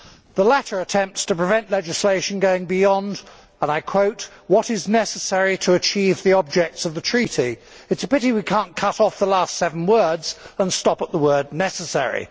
The latter attempts to prevent legislation going beyond, and I quote what is necessary to achieve the objects of the Treaty'. It is a pity we cannot cut off the last seven words and stop at the word necessary'.